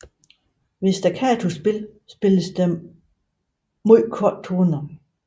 Ved staccatospil spilles der meget korte toner